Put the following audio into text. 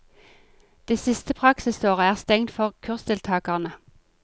Det siste praksisåret er stengt for kursdeltagerne.